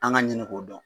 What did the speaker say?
An ka ɲini k'o dɔn